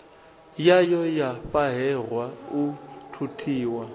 yayo ya fhahehwa u thuthiwa